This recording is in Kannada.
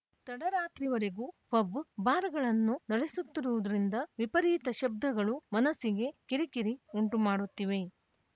ತಡರಾತ್ರಿವರೆಗೂ ಪಬ್‌ ಬಾರ್‌ಗಳನ್ನು ನಡೆಸುತ್ತಿರುವುದರಿಂದ ವಿಪರೀತ ಶಬ್ದಗಳು ಮನಸ್ಸಿಗೆ ಕಿರಿಕಿರಿ ಉಂಟು ಮಾಡುತ್ತಿವೆ